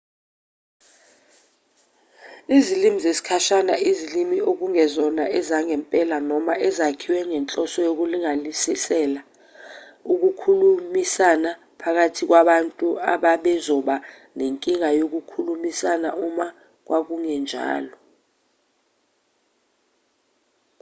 izilimi zesikhashana izilimi ekungezona ezangempela noma ezakhiwe ngenhloso yokulungiselela ukukhulumisana phakathi kwabantu ababezoba nenkinga yokukhulumisana uma kwakungenjalo